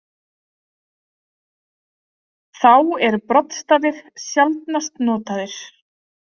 Þá eru broddstafir sjaldnast notaðir.